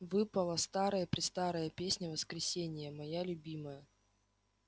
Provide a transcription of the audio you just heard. выпала старая-престарая песня воскресения моя любимая